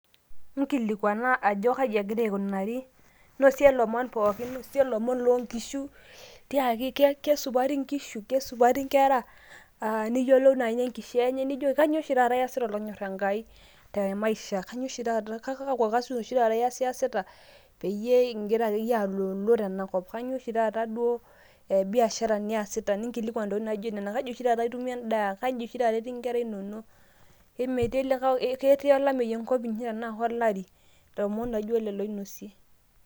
nkilikwana ajo keji egira aikunari ,nosie lomon pookin, nosie ilomon loonkishu, tiaki kesupati nkishu? ,kesupati nkera? aa niyiolou nai ine nkishaa enye nijoki kainyioo oshi taata iyasita olonyor enkai te maisha, kainyio oshi taata ,kalo kasin iyasita peyie ingira akeyie alolo tenakop . kainyioo oshi taata duoo biashara niasita. ninkilikwan ntokitin naijo nena . kaji oshi taata itumie endaa, kaji oshi taata etii nkera inonok ,imetii likae ,ketii olameyu enkop inyi? tenaa kolari? ilomon laijo lelo inosie.